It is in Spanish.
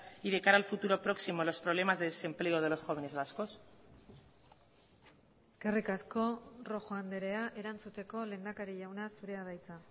y de cara al futuro próximo los problemas de desempleo de los jóvenes vascos eskerrik asko rojo andrea erantzuteko lehendakari jauna zurea da hitza